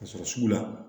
Ka sɔrɔ sugu la